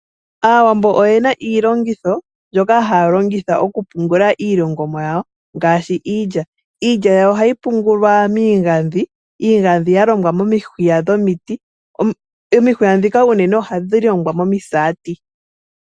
Aawambo oyena iilongitho mbyoka haya longitha okupungula iilongomwa yawo ngaashi iilya. Iilya yawo ohayi pungulwa miigadhi. Iigadhi yalongwa momihwiya dhomiti, omihwiya ndhono ohadhi zi komisati.